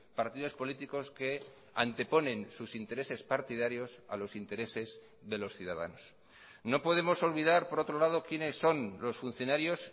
partidos políticos que anteponen sus intereses partidarios a los intereses de los ciudadanos no podemos olvidar por otro lado quienes son los funcionarios